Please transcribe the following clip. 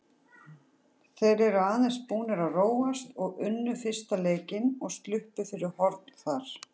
Þeir eru aðeins búnir að róast og unnu fyrsta leikinn og sluppu fyrir horn þar.